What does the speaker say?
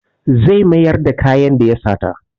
Zai mayar da kayan da ya sata.